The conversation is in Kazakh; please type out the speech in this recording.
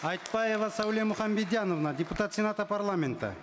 айтбаева сауле муханбедиановна депутат сената парламента